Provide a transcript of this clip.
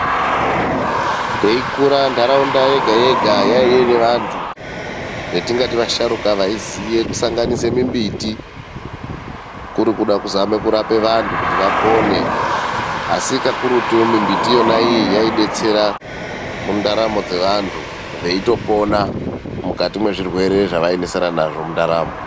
Teikura ndaraunda yega yega yanga ine vantu vataiti vasharuka, vaiziva kusanganisa mbiti kuri kuda kuzama vandu kuti vapone asi kakurutu mbiti iyi yaidetsera mundaramo dzevandu veitopona mukati mezvirwere zvavaisangana nazvo .